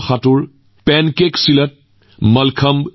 আপোনালোকে জানে যে দিউ এটা কেন্দ্ৰীয় শাসিত অঞ্চল সোমনাথৰ নিচেই ওচৰত